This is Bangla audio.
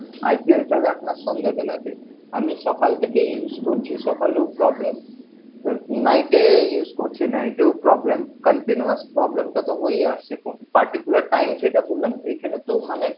IPL চলে আপনার সন্ধের বেলাতে আমি সকাল থেকেই use করছি সকালেও problem night এ use করছি night এও problem continuous problem টা তো হয়েই আসছে তো particular time যেটা বললাম ঐখানে তো মানে